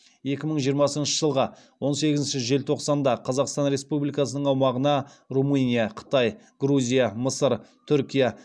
екі мың жиырмасыншы жылғы он сегізінші желтоқсанда қазақстан республикасының аумағына румыния қытай грузия мысыр түркия